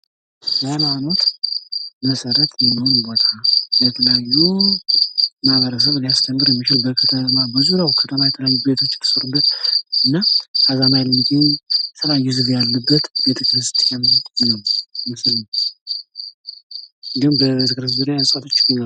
ሀይማኖት መሰረት የሆነ ቦታ ለተለያዩ ማህበረሰብ ሊያስተምር የሚችል በዙሪያዉ ብዙ ቤቶች የተሰሩበት እና ከተማ የሚገኙ ቤተክርስቲያን ነዉ። እንዲሁም በዙሪያዉ እፅዋቶች ይገኛሉ።